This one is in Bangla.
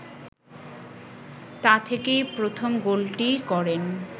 তা থেকেই প্রথম গোলটি করেন